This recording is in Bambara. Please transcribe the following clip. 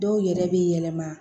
Dɔw yɛrɛ bɛ yɛlɛma